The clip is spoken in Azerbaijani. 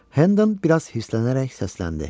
Hendon biraz hirslənərək səsləndi.